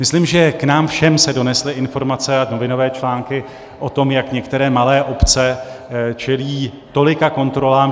Myslím, že k nám všem se donesly informace a novinové články o tom, jak některé malé obce čelí tolika kontrolám.